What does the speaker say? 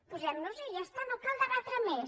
posem noshi ja està no cal debatre més